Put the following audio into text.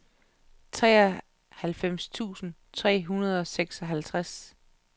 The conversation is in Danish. treoghalvfems tusind tre hundrede og seksoghalvtreds